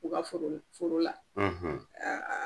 U ka foro la foro la